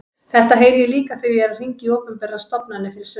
Þetta heyri ég líka þegar ég er að hringja í opinberar stofnanir fyrir sunnan.